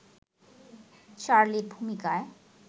চার্লির ভূমিকায়